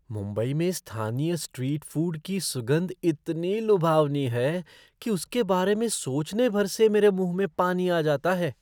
मुंबई में स्थानीय street food की सुगंध इतनी लुभावनी है कि उसके बारे में सोचने भर से मेरे मुंह में पानी आ जाता है!